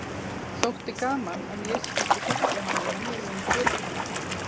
Þótti gaman að ég skyldi þekkja hann í venjulegum fötum.